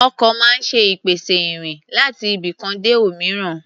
Ọkọ̀ máa ń ṣe ìpèsè ìrìn láti ibikan dé òmíràn.